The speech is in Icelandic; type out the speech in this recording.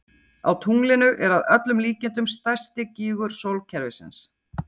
Á tunglinu er að öllum líkindum stærsti gígur sólkerfisins.